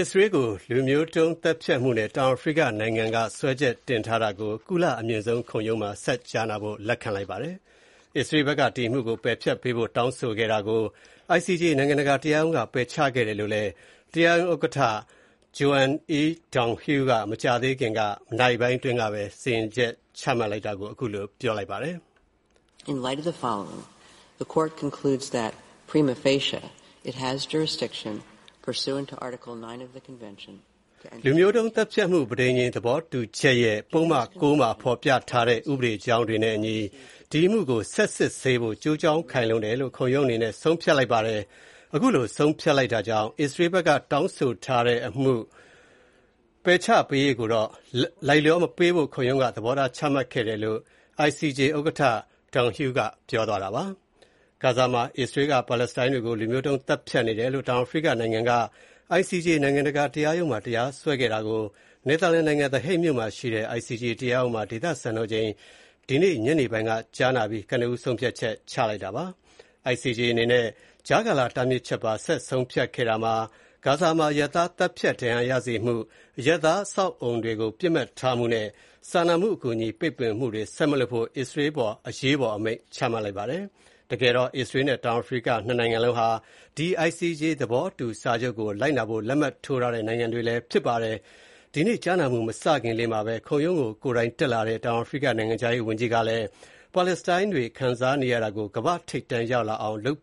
အစ္စရေးကို လူမျိုးတုံးသတ်ဖြတ်မှုနဲ့ တောင်အာဖရိကနိုင်ငံက စွဲချက်တင်ထားကို ကုလသမဂ္ဂ အမြင့်ဆုံး ခုံရုံးက ဆက်ကြားနာဖို့ လက်ခံလိုက်ပါတယ်။ အစ္စရေးဘက်က ဒီအမှုကို ပယ်ဖျက်ပေးဖို့ တောင်းဆိုခဲ့တာကို ICJ နိုင်ငံတကာတရားရုံးက ပယ်ချခဲ့တယ်လို့လည်း တရားရုံးဥက္ကဋ္ဌ Joan E. Donoghue က မကြာသေးခင် နာရီပိုင်းအတွင်းကဘဲ စီရင်ချက် ချလိုက်တာပါ။ “လူမျိုးတုံးသတ်ဖြတ်မှု ပဋိဉာဏ်သဘောတူချက်ရဲ့ ပုဒ်မ ၉ မှာ ဖော်ပြထားတဲ့ ဥပဒေကြောင်းနဲ့အညီ၊ ဒီအမှုကို ဆက်စစ်ဆေးဖို့ ကျိုးကြောင်းခိုင်လုံတယ်လို့ ခုံရုံးအနေနဲ့ ဆုံးဖြတ်လိုက်ပါတယ်။ အခုလို ဆုံးဖြတ်လိုက်တာကြောင့် အစ္စရေးဖက်က တောင်းဆိုထားတဲ့ ဒီအမှု ပယ်ချပေးရေးကိုတော့ လိုက်လျောမပေးဖို့ ခုံရုံးက သဘောထားချမှတ်လိုက်တာပါ” လို့ ICJ ဥက္ကဋ္ဌ Donoghue က ပြောသွားတာပါ။ ဂါဇာမှာ အစ္စရေးက ပါလက်စတိုင်းတွေကို လူမျိုးတုံးသတ်ဖြတ်နေတယ်လို့ တောင်အာဖရိကနိုင်ငံက ICJ နိုင်ငံတကာတရားရုံးမှာ တရားစွဲဆိုခဲ့တာကို နယ်သာလန်နိုင်ငံ The Hague မြို့မှာရှိတဲ့ ICJ တရားရုံးမှာ ဒေသစံတော်ချိန် ဒီကနေ့ ညနေပိုင်းက ကြားနာပြီး ကနဦး ဆုံးဖြတ်ချက် ချလိုက်တာပါ။ ICJ အနေနဲ့ ကြားကာလတားမြှစ်ချက်ပါ ဆက်ဆုံးဖြတ်ခဲ့တာမှာ ဂါဇာမှာ အရပ်သားသတ်ဖြတ် ဒဏ်ရာရစေမှု၊ အရပ်သားအဆောက်အအုံတွေ ပစ်မှတ်ထားမှုနဲ့၊ စာနာမူအကူအညီပိတ်ပင်မှုတွေ ဆက်မလုပ်ဖို့ အစ္စရေးအပေါ် အရေးပေါ် အမိန့်ချလိုက်ပါတယ်။တကယ်တော့ အစ္စရေးနဲ့ တောင်အာဖရိက ၂ နိုင်ငံလုံးက ဒီ ICJ သဘောတူစာချုပ်ကို လိုက်နာဖို့ လက်မှတ်ထိုးထားတဲ့ နိုင်ငံတွေလည်း ဖြစ်ပါတယ်။ ဒီနေ့ကြားနာမှုမစခင်လေးမှာပဲ၊ ခုံရုံးကို ကိုယ်တိုင်တက်လာတဲ့ တောင်အာရိက နိုင်ငံခြားရေးဝန်ကြီးကလည်း ပါလက်စတိုင်းတွေ ခံစားနေရတာကို ကမ္ဘာ့ထိပ်တန်းရောက်လာအောင် လုပ်